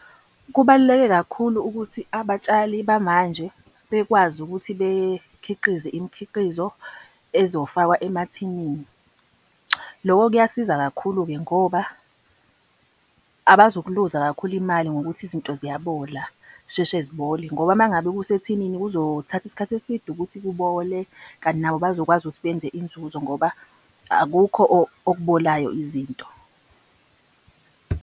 Kubaluleke kakhulu ukuthi abatshali bamanje bekwazi ukuthi bekhiqize imikhiqizo ezofakwa emathinini. Loko kuyasiza kakhulu-ke ngoba abazukuluza kakhulu imali ngokuthi izinto ziyabola, zisheshe zibole. Ngoba uma ngabe kusethinini kuzothatha isikhathi eside ukuthi kubole, kanti nabo bazokwazi ukuthi benze inzuzo ngoba akukho okubolayo izinto.